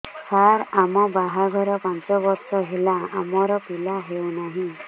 ସାର ଆମ ବାହା ଘର ପାଞ୍ଚ ବର୍ଷ ହେଲା ଆମର ପିଲା ହେଉନାହିଁ